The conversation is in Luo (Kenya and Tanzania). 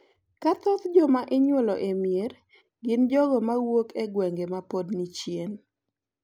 Ka thoth joma inyuolo e mier gin jogo ma wuok e gwenge ma pod ni chien.